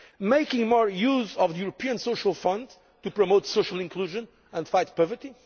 making more use of the European Social Fund to promote social inclusion and fight poverty